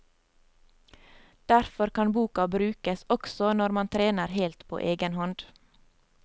Derfor kan boka brukes også når man trener helt på egen hånd.